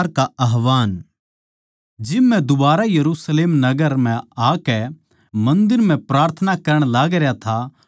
जिब मै दुबारा यरुशलेम नगर म्ह आकै मन्दर म्ह प्रार्थना करण लागरया था तो बेसुध होग्या